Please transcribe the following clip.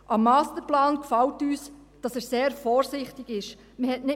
Am Masterplan gefällt uns, dass er sehr vorsichtig ist.